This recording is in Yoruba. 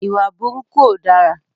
Ìwà burúkú ó dára.